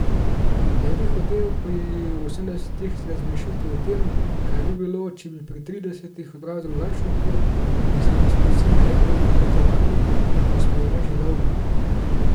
Ne bi hotel pri osemdesetih razmišljati o tem, kaj bi bilo, če bi pri tridesetih ubral drugačno pot in si uresničil željo po potovanju, ki me spremlja že dolgo.